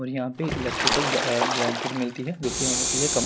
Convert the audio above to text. और यहाॅं पे इलेक्ट्रिकल ब्ल अ ब्लैंकेट मिलती हैं जो की होती हैं कम--